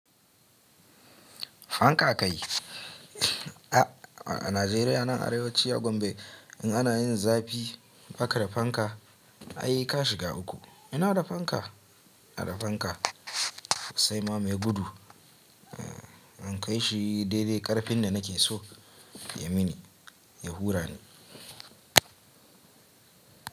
Fanka kai. A, a Najeriya nan Arewa ci a gombe in ana yin zafi, baka da fanka ai ka shiga uku. Ina da fanka, ina da fanka sosai ma mai gudu, eh in kai shi daidai ƙarfin da nake so ya mini, ya hura ni.